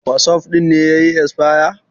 wasof ɗin ne ya yi esfaya